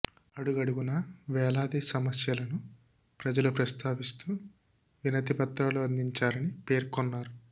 అడుగడుగునా వేలాది సమస్యలను ప్రజలు ప్రస్తావిస్తూ వినతి పత్రాలు అందించారని పేర్కొన్నారు